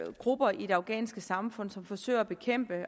grupper i det afghanske samfund som forsøger at bekæmpe